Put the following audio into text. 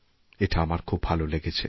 এটা আমার খুব ভালো লেগেছে